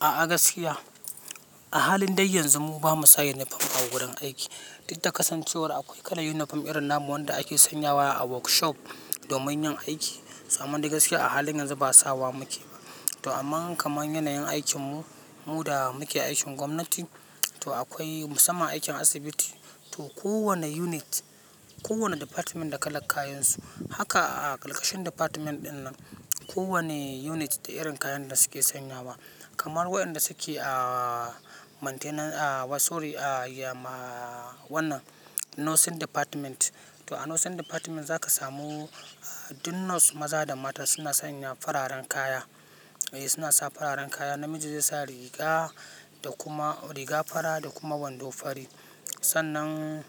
A gaskiya, a halin dai yanzu mu ba mu sa yunifom a gurin aiki. Didda kasancewar akwai kalan yunifom irin na mu wanda ake sanyawa, a workshop, domin yin aiki. To amman dai gaskiya a halin yanzu ba, sawa muke ba. To amman kaman yanayin aikin mu, mu da muke aikin gwamnati, to akwai musamman aikin asibiti, to kowane unit, kowane department da kalak kayan su. Haka a ƙalƙashin department ɗin nan, kowane unit da irin kayan da suke sanyawa, kamar waƴanda suke ah, maintenance ah, wa sori ah, yama, wannan nursing department. To a nursing department za ka samu, du nurse maza da mata suna sanya fararen kaya. E suna sa fararen kaya. Namiji zai sa riga da kuma, riga fara da kuma wando fari. Sannan,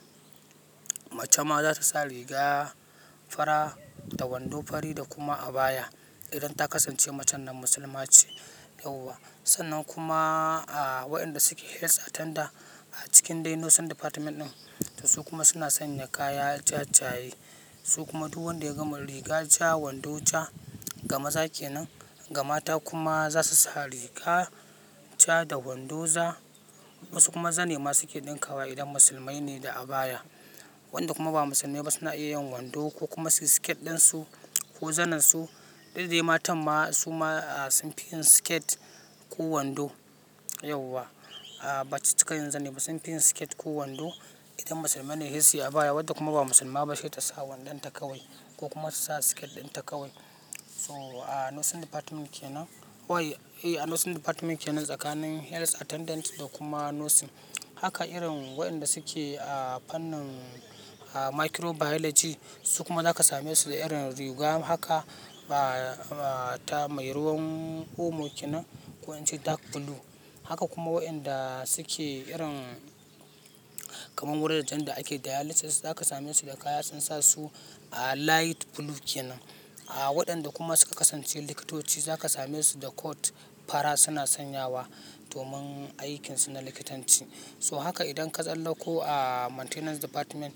mace ma za ta sa riga, fara da wando fari da kuma abaya, idan ta kasance macen nan musulma ce, yauwa. Sannan kuma, a waƴanda suke health attendant, a cikin dai nursing department ɗin, to su kuma suna sanya kaya jajayi. Su kuma duk wanda ya gama riga ja, wando ja, ga maza kenan. Ga mata kuma za su sa riga ja da wando za, wasu kuma zane ma suke ɗinka wa, idan musulmai ne da abaya. Wanda kuma ba musulmai ba, suna iya yin wando, ko kuma su yi skirt ɗin su, ko zanen su, Did dai matan ma, su ma sun fi yin siket, ko wando, yauwa. A baci cika yin zane ba. Sun fi yin siket ko wando, idan musulmai ne he siyi abaya, wadda kuma ba musulma ba she ta sa wandon ta kawai, ko kuma su sa siket ɗinta kawai. To, a nursing department kenan. Wai, eh a nursing department kenan, tsakanin health attendant, da kuma nursing. Haka irin, waƴanda suke a fannin microbiology, su kuma za ka same su da irin riga haka, ba, ta mai ruwan omo kenan, ko ince dark blue. Haka kuma waƴanda suke irin, kamar wura jan da ake dialysis, za ka same su da kaya sun sa su ah, light blue kenan. A waɗanda kuma su ka kasance likitoci, za ka same su da coat, fara, suna sanyawa domin aikin su na likitanci. To haka idan ka tsallako ah, maintenance department,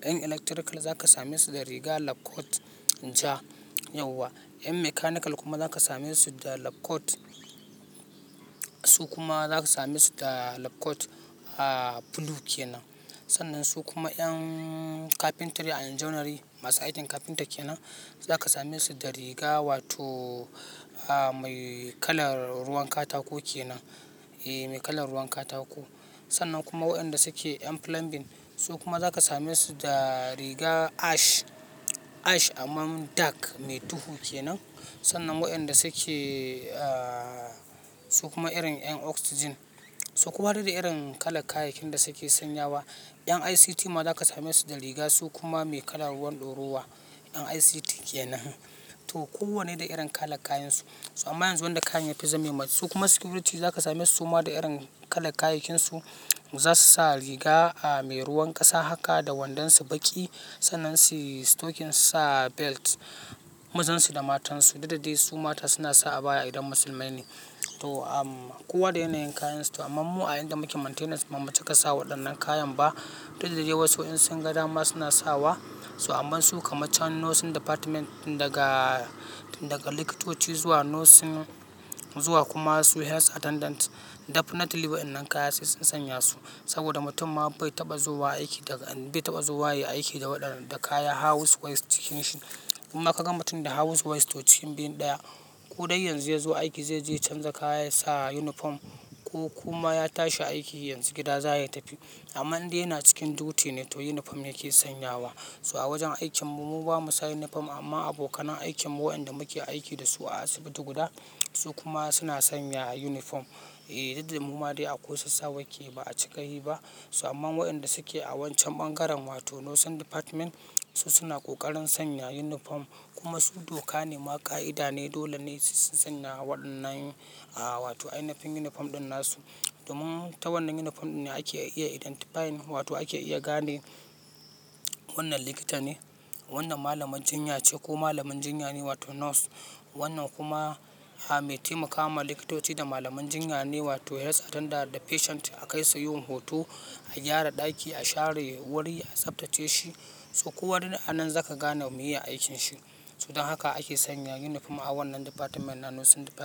ƴan electrical za ka same su da riga lab coat ja, yauwa. Ƴan mechanical kuma za ka same su da lab coat, su kuma za ka same su da lab coat ah, blue kenan. Sannan su kuma ƴan carpentry and joinery, masu aikin carpenter kenan, za ka same su da riga wato, ah, mai kalar ruwan katako kenan. E mai kalan ruwan katako. Sannan kuma waƴanda suke ƴan plumbing, su kuma za ka same su da riga ash, ash amman dark, mai duhu kenan, sannan waƴanda suke, ah, su kuma irin ƴan oxygen. To kowa da irin kala kayayyakin da suke sanyawa, ƴan ICT ma za ka same su da riga, su kuma mai kalan ruwan ɗorowa. Ƴan ICT kenan. To kowanne da irin kala kayan su. To amma yanzu wanda kayan ya fi zame mas, su kuma security za ka same suma da irin kala kayayyakin su, za su sa riga, a mai ruwan ƙasa haka da wandon su baƙi. Sannan si stocking su sa belt, mazan su da matan su. Dida dai su mata suna sa abaya, idan musulmai ne. To am, kowa da yanayin kayan su, to amman mu a inda muke maintenance ba mu cika sa waɗannan kayan ba, Dida dai wasu in sun ga dama, suna sawa, to amman su kamac can nursing department tin daga, tin daga likitoci zuwa nursing, zuwa kuma su health attendant, Definitely waƴannan kaya sai sun sanya su. Saboda mutum ma bai taɓa zowa aiki daga bai taɓa zowa ya yi aiki da waɗan, da kaya house waste jikin shi. Inma kaga mutum da house waste to cikin biyun ɗaya. Ko dai yanzu ya zo aiki zai je ya canza kaya ya sa yunifom, ko kuma ya tashi aiki yanzu gida za ya tafi. Amman indai yana cikin duty ne, to yunifom yake sanyawa. So a wajen aikin mu, mu bamu sa yunifom, amma abokanan aikin mu waƴanda muke aiki da su a asibiti guda, su kuma suna sanya yunifom. E didda mu ma dai a kusa sawake, ba a cika yi ba. So amman waƴanda suke a wancan bangaren, wato nursing department, su suna ƙoƙarin sanya yunifom, kuma su doka ne ma, ƙa'ida ne, dole ne su sanya waɗannan a wato ainafin yunifom ɗin na su. Domin ta wannan yunifom ɗin ne ake iya identifying, wato ake iya gane wannan likita ne, wannan malamaj jinya ce ko malamin jinya ne wato nurse. Wannan kuma, ah, mai taimaka ma likitoci da malaman jinya ne, wato health attendant, da patient a kai sa yin hoto, a gyara ɗaki, a share wuri, a tsaftace shi, to kowane da anan za ka gane meye aikin shi. To dan haka ake sanya yunifom a wannan department na nursing department.